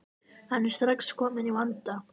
Hann er strax kominn í vanda.